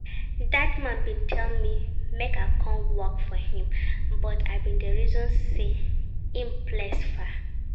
Dat man bin tell me make I come work for him but I bin dey reason say im place far